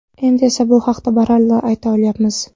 Endi esa bu haqida baralla ayta olyapmiz.